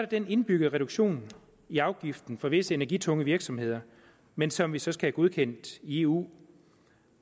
den indbyggede reduktion i afgiften for visse energitunge virksomheder men som vi så skal have godkendt i eu